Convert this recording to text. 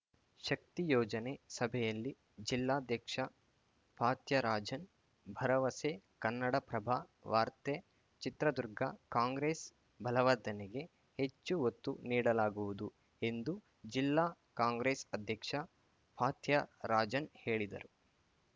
ಶಕ್ತಿ ಯೋಜನೆ ಸಭೆಯಲ್ಲಿ ಜಿಲ್ಲಾಧ್ಯಕ್ಷ ಫಾತ್ಯರಾಜನ್‌ ಭರವಸೆ ಕನ್ನಡಪ್ರಭ ವಾರ್ತೆ ಚಿತ್ರದುರ್ಗ ಕಾಂಗ್ರೆಸ್‌ ಬಲವರ್ಧನೆಗೆ ಹೆಚ್ಚು ಒತ್ತು ನೀಡಲಾಗುವುದು ಎಂದು ಜಿಲ್ಲಾ ಕಾಂಗ್ರೆಸ್‌ ಅಧ್ಯಕ್ಷ ಫಾತ್ಯರಾಜನ್‌ ಹೇಳಿದರು